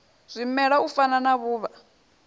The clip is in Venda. zwimela u fana na vhuvha